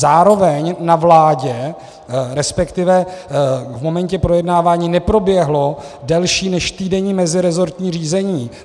Zároveň na vládě, respektive v momentě projednávání neproběhlo delší než týdenní meziresortní řízení.